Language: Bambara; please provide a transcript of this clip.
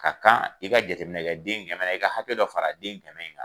Ka kan i ka jateminɛ kɛ den in dɛmɛ na i ka hakɛ dɔ fara den in dɛmɛ kan.